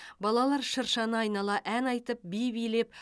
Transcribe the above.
балалар шыршаны айнала ән айтып би билеп